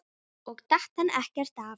Og datt hann ekkert af?